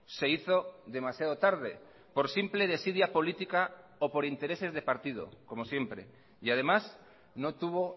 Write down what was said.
se hizo demasiado tarde por simple desidia política o por intereses de partido como siempre y además no tuvo